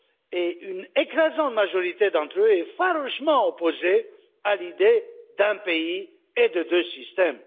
et une écrasante majorité d'entre eux est farouchement opposée à l'idée d'un pays et de deux systèmes.